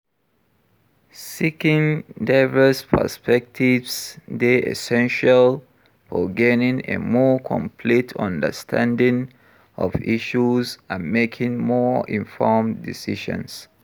seeking diverse perspectives dey essential for gaining a more complete understanding of issues and making more informed decisions.